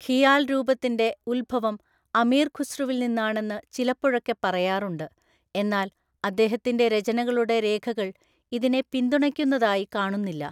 ഖിയാൽ രൂപത്തിന്റെ ഉത്ഭവം അമീർ ഖുസ്രുവില്‍നിന്നാണെന്നു ചിലപ്പോഴൊക്കെ പറയാറുണ്ട്, എന്നാൽ അദ്ദേഹത്തിന്റെ രചനകളുടെ രേഖകൾ ഇതിനെ പിന്തുണയ്ക്കുന്നതായി കാണുന്നില്ല.